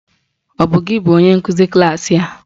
Ọ bụ gị bụ onye nkụzi klaasị a?